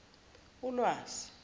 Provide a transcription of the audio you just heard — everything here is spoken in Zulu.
ulwazi